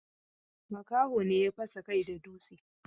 Makaho ne ya fasa kai da dutse.